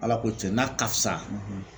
Ala ko tiɲɛ n'a ka fisa